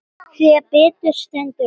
Þegar betur stendur á